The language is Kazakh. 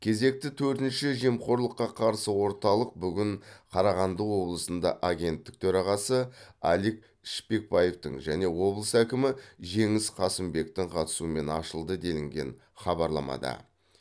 кезекті төртінші жемқорлыққа қарсы орталық бүгін қарағанды облысында агенттік төрағасы алик шпекбаевтың және облыс әкімі жеңіс қасымбектің қатысуымен ашылды делінген хабарламада